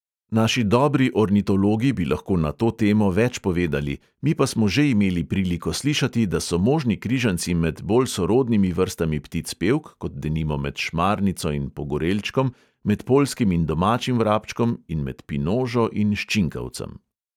Naši dobri ornitologi bi lahko na to temo več povedali, mi pa smo že imeli priliko slišati, da so možni križanci med bolj sorodnimi vrstami ptic pevk, kot denimo med šmarnico in pogorelčkom, med poljskim in domačim vrabčkom in med pinožo in ščinkavcem.